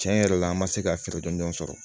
Tiɲɛ yɛrɛ la an ma se ka feere dɔndɔn sɔrɔ